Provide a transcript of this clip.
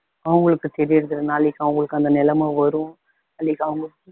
அவங்களுக்கு தெரியுரதில்ல நாளைக்கு அவங்களுக்கு அந்த நிலமை வரும் அன்னைக்கு அவங்க